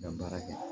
Ka baara kɛ